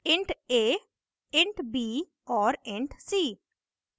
int a int b और int c;